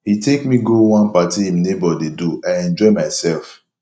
he take me go one party im neighbor dey do i enjoy myself